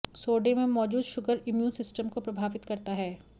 सोडे में मौजूद शुगर इम्यून सिस्टम को प्रभावित करता है